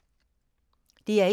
DR1